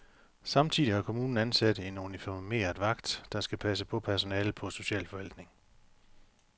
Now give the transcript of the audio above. Samtidig har kommunen ansat en uniformeret vagt, der skal passe på personalet på socialforvaltning.